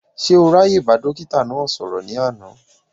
Ṣé o ráàyè bá dókítà náà sọ̀rọ̀ ní àná?